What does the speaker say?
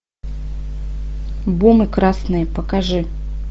бум и красные покажи